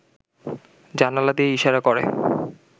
জানালা দিয়ে ইশারা করে